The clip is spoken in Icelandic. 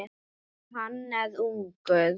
Og hann er ungur.